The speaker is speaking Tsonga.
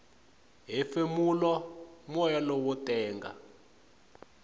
hefemula moya lowo tenga